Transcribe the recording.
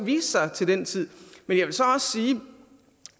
vise sig til den tid men jeg vil så også sige